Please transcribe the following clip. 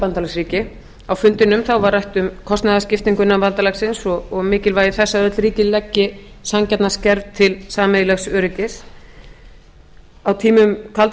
bandalagsríki á fundinum var rætt um kostnaðarskiptingu innan bandalagsins og mikilvægi þess að öll ríki leggi sanngjarnan skerf til sameiginlegs öryggis á tímum kalda